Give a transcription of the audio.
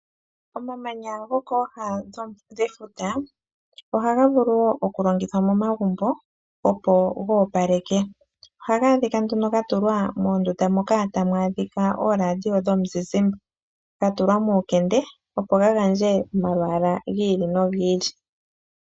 Omamanya ngoka haga kala kooha dhefuta ohaga vulu woo okulongithwa momagumbo opo ga opaleke . Ohaga adhika nduno gatulwa momagumbo moka tamu adhika ooRadio dhomuzizimba ga tulwa muukende opo ga gandje omalwaala gi ili nogi ili